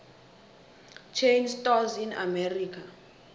chain stores in america